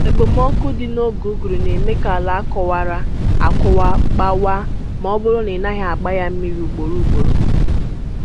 Okpomọkụ dị n'oge ụguru na-eme ka àlà a kọwara, akọwa gbawaa ma ọ bụrụ na ị naghị agba ya mmiri ugboro ugboro.